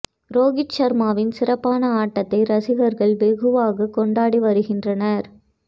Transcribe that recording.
ரோகித் ஷர்மாவின் சிறப்பான ஆட்டத்தை ரசிகர்கள் வெகுவாக கொண்டாடி வருகின்றனர்